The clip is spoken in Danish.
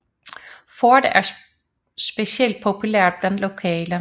Forte er specielt populært blandt lokale